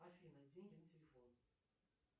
афина деньги на телефон